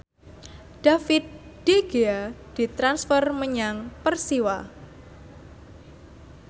David De Gea ditransfer menyang Persiwa